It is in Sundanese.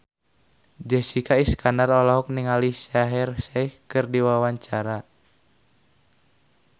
Jessica Iskandar olohok ningali Shaheer Sheikh keur diwawancara